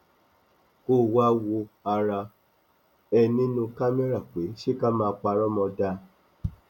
kó o wáá wo ara ẹ nínú kámẹrà pé ṣé ká má parọ mọ dáa